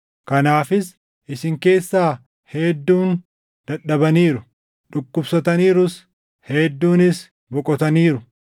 Kanaafis isin keessaa hedduun dadhabaniiru; dhukkubsataniirus; hedduunis boqotaniiru.